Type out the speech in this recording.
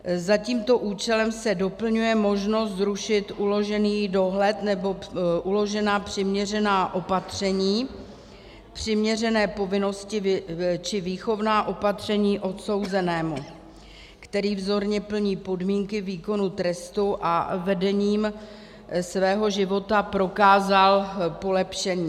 Za tímto účelem se doplňuje možnost zrušit uložený dohled nebo uložená přiměřená opatření, přiměřené povinnosti či výchovná opatření odsouzenému, který vzorně plní podmínky výkonu trestu a vedením svého života prokázal polepšení.